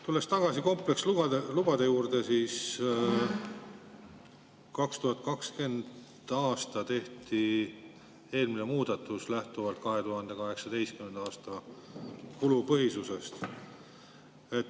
Tulles tagasi komplekslubade juurde, 2020. aastal tehti eelmine muudatus, lähtudes 2018. aasta kulupõhisusest.